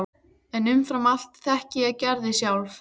En umfram allt þekkti ég Gerði sjálf.